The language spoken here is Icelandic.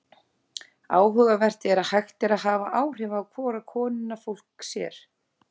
Áhugavert er að hægt er að hafa áhrif á hvora konuna fólk sér.